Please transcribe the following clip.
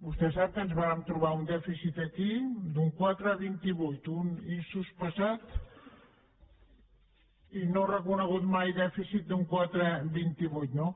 vostè sap que ens vàrem trobar un dèficit aquí d’un quatre coma vint vuit un insospesat i no reconegut mai dèficit d’un quatre coma vint vuit no